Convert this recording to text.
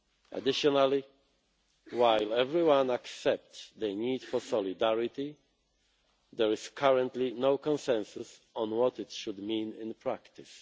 Additionally, while everyone accepts the need for solidarity, there is currently no consensus on what it should mean in practice.